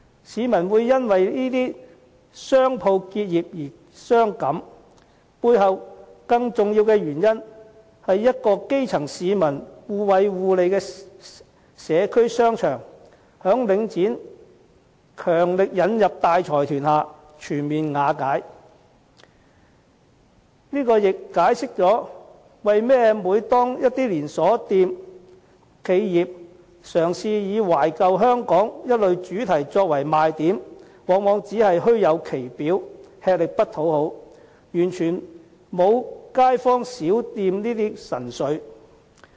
市民會因為這些商鋪結業而傷感，背後更重要的原因，是一個讓基層市民互惠互利的社區商場，在領展強力引入大財團下全面瓦解，這亦解釋了為何每當一些連鎖企業，嘗試以"懷舊香港"等主題作賣點時，往往只是虛有其表，吃力不討好，完全沒有街坊小店的神髓。